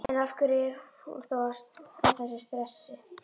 En, af hverju er hún þá að þessu streði?